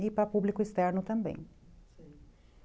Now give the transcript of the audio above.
E para público externo também.